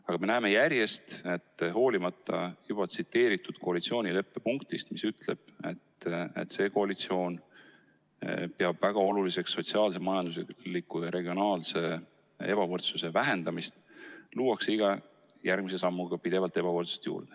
Aga me näeme järjest, et hoolimata juba tsiteeritud koalitsioonileppe punktist, mis ütleb, et see koalitsioon peab väga oluliseks sotsiaalse, majandusliku ja regionaalse ebavõrdsuse vähendamist, luuakse iga järgmise sammuga pidevalt ebavõrdsust juurde.